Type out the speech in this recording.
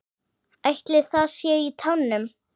Ætli það sé í tánum?